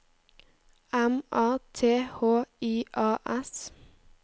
M A T H I A S